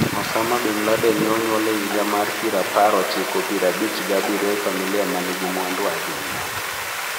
Osama bin Laden ne onyuol e higa mar pir apar ochiko pir abich gi abirio e familia ma nigi mwandu ahinya.